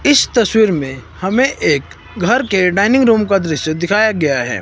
इस तस्वीर में हमें एक घर के डाइनिंग रूम का दृश्य दिखाया गया है।